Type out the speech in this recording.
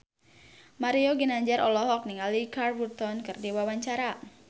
Mario Ginanjar olohok ningali Richard Burton keur diwawancara